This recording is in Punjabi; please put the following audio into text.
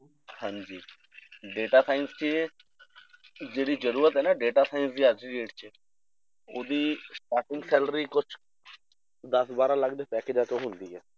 ਹਾਂਜੀ data science ਦੀ ਇਹ ਜਿਹੜੀ ਜ਼ਰੂਰਤ ਹੈ ਨਾ data science ਦੀ ਅੱਜ ਦੀ date 'ਚ ਉਹਦੀ starting salary ਕੁਛ ਦਸ ਬਾਰਾਂ ਲੱਖ ਦੇ ਤਾਂ started ਹੁੰਦੀ ਹੈ